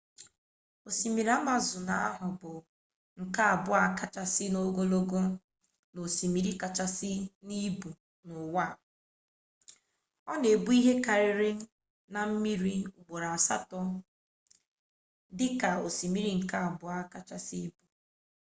osimiri amazọn ahụ bụ nke abụọ kachasị ogologo na osimiri kachasị n'ibu n'ụwa ọ na-ebu ihe karịrị nha mmiri ugboro asatọ dị ka osimiri nke abụọ kachasị ibu